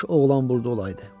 Kaş oğlan burda olaydı.